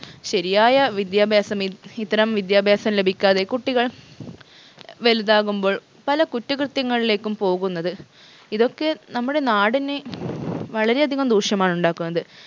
ശരിയായ വിദ്യാഭ്യാസം ഇ ഇത്തരം വിദ്യാഭ്യാസം ലഭിക്കാതെ കുട്ടികൾ വലുതാകുമ്പോൾ പല കുറ്റകൃത്യങ്ങളിലേക്കും പോകുന്നത് ഇതൊക്കെ നമ്മുടെ നാടിന് വളരെ അധികം ദൂഷ്യമാണ് ഉണ്ടാക്കുന്നത്